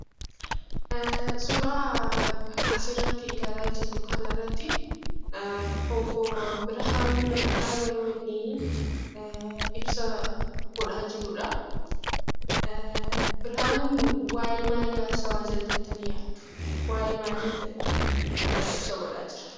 Suuraa asirratti ilaalaa jirru kanarratti obbo Birhaanuu Naggaa yeroo inni ibsa godhaa jiruudha. Birhaanuun waayee maalii haasa'aa jira jettanii yaaddu? Waayee maalii ibsa godhaa jira?